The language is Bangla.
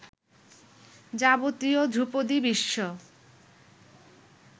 যাবতীয় ধ্রুপদি বিশ্ব